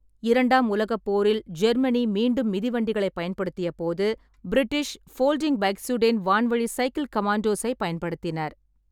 இரண்டாம் உலகப் போரில் ஜெர்மனி மீண்டும் மிதிவண்டிகளைப் பயன்படுத்தியபோது, பிரிட்டிஷ் ஃபோல்டிங் பைக்ஸுடேன் வான்வழி சைக்கில் கமேண்டோஸைப் பயன்படுத்தினர்.